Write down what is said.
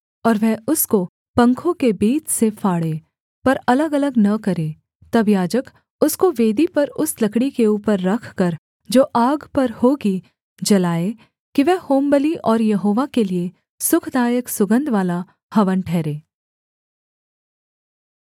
और वह उसको पंखों के बीच से फाड़े पर अलगअलग न करे तब याजक उसको वेदी पर उस लकड़ी के ऊपर रखकर जो आग पर होगी जलाए कि वह होमबलि और यहोवा के लिये सुखदायक सुगन्धवाला हवन ठहरे